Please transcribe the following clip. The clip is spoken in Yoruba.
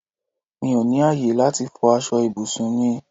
Mí ó ní ayé láti fò aṣọ ibùsùn mi